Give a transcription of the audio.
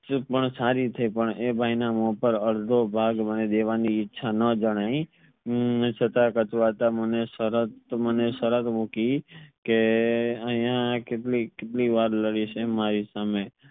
સારી થઈ પણ એ ભાઈ ના આદધો ભાગ દેવાની ઈચ્છા ન જણાઈ હમ ને છતાં કચૂયરતા મને સરત મને સરત મૂકી કે અહિયાં કેટલીક કેટલીક વાર લઢીસ મારી સામે